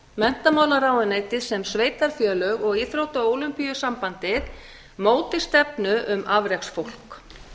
menntamálaráðuneytið sem sveitarfélög og íþrótta og ólympíusamband móti stefnu um afreksfólk